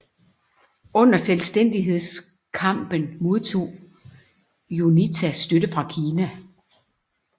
Under selvstændighedskampen modtog UNITA støtte fra Kina